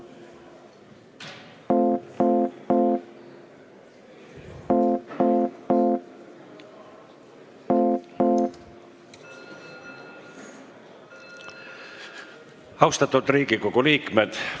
Austatud Riigikogu liikmed!